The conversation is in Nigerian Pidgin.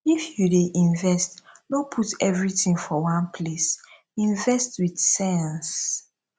if you dey invest no put everything for one place invest with sense